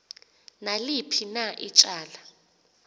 naliphi na ityala